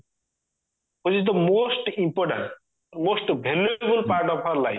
which is the most important most valuable part of our life